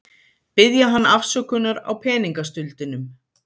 Biðja hann afsökunar á peningastuldinum.